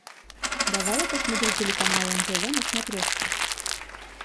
давай я посмотрю телеканал нтв на смотрешке